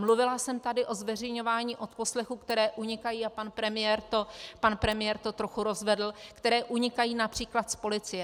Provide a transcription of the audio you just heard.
Mluvila jsem tady o zveřejňování odposlechů, které unikají, a pan premiér to trochu rozvedl, které unikají například z policie.